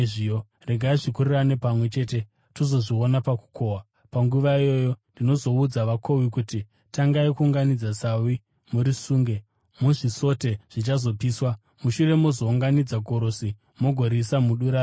Regai zvikurirane pamwe chete, tozozviona pakukohwa. Panguva iyoyo ndinozoudza vakohwi kuti: Tangai kuunganidza sawi murisunge muzvisote zvichazopiswa. Mushure mozounganidza gorosi mugoriisa mudura rangu.’ ”